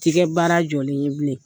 baara jɔlen ye bilen.